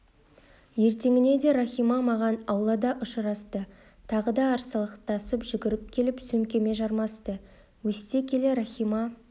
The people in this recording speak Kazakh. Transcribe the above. ертеңіне де рахима маған аулада ұшырасты тағы да арсалақтап жүгіріп келіп сөмкеме жармасты өсте келе рахима